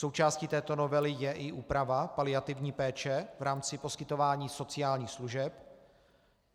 Součástí této novely je i úprava paliativní péče v rámci poskytování sociálních služeb.